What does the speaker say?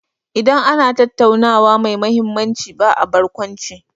Idan ana tattaunawa mai mahimmanci ba a barkwanci.